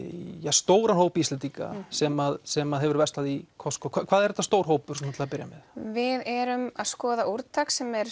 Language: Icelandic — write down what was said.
stóran hóp Íslendinga sem sem hafa verslað í Costco hvað er þetta stór hópur til að byrja með við erum að skoða úrtök sem er